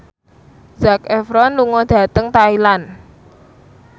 Zac Efron lunga dhateng Thailand